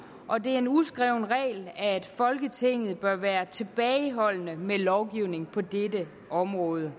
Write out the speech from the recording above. og det er en uskreven regel at folketinget bør være tilbageholdende med lovgivning på dette område